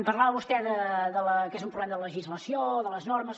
parlava vostè que és un problema de la legislació de les normes